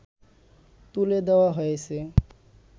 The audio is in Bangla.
তুলে দেয়া হয়েছে